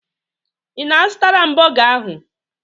Ị na-azụtara m bọga ahụ?